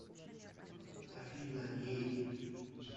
афина ей